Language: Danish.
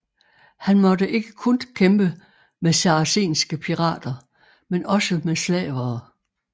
Han måtte ikke kun kæmpe mod saracenske pirater men også med slavere